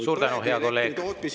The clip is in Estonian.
Suur tänu, hea kolleeg!